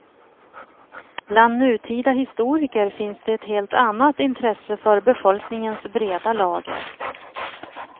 Bland nutida historiker finns det ett helt annat intresse för befolkningens breda lager.